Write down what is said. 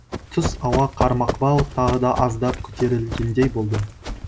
түс ауа қармақбау тағы да аздап көтерілгендей болды